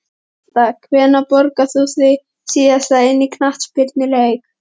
Körfubolta Hvenær borgaðir þú þig síðast inn á knattspyrnuleik?